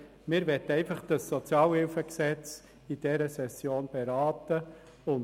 Wir möchten einfach das SHG in dieser Session beraten.